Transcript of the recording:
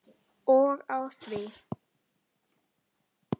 Og á því!